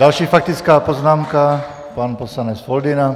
Další faktická poznámka, pan poslanec Foldyna.